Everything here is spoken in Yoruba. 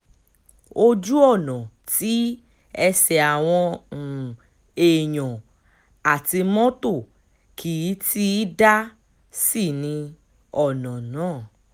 ojú ọ̀nà tí ẹsẹ̀ àwọn um èèyàn àti mọ́tò kì í ti í dá sí ní um ọ̀nà náà